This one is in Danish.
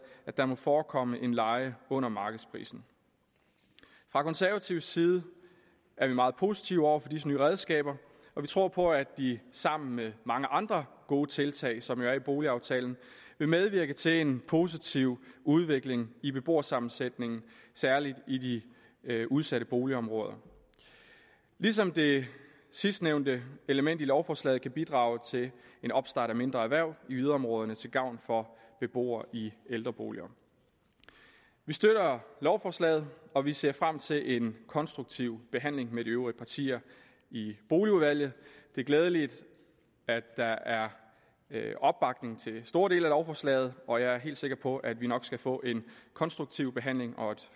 at der må forekomme en leje under markedsprisen fra konservativ side er vi meget positive over for disse nye redskaber og vi tror på at de sammen med mange andre gode tiltag som jo er i boligaftalen vil medvirke til en positiv udvikling i beboersammensætningen særlig i de udsatte boligområder ligesom det sidstnævnte element i lovforslaget kan bidrage til en opstart af mindre erhverv i yderområderne til gavn for beboere i ældreboliger vi støtter lovforslaget og vi ser frem til en konstruktiv behandling med de øvrige partier i boligudvalget det er glædeligt at der er opbakning til store dele af lovforslaget og jeg er helt sikker på at vi nok skal få en konstruktiv behandling og et